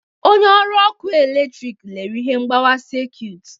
Onye ọrụ ọkụ eletrịkị lere ihe mgbawa sekit.